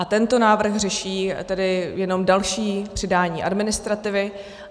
A tento návrh řeší tedy jenom další přidání administrativy.